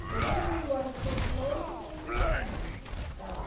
Então todo mundo mora em centro de Londres porque não tem condições de ficar lá.